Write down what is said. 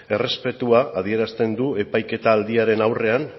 errespetua adierazten du epaiketaldiaren aurrean